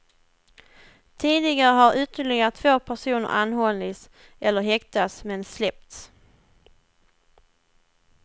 Tidigare har ytterligare två personer anhållits eller häktats men släppts.